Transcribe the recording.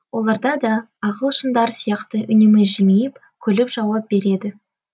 оларда да ағылшындар сияқты үнемі жымиып күліп жауап береді